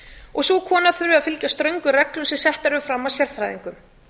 og sú kona þurfi að fylgja ströngum reglum sem settar eru fram af sérfræðingum